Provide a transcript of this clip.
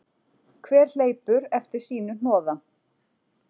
Hver hleypur eftir sínu hnoða